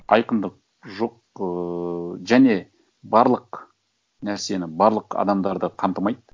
айқындық жоқ ыыы және барлық нәрсені барлық адамдарды қамтымайды